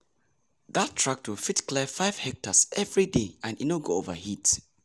that tractor fit clear five hectares every day and e no go overheat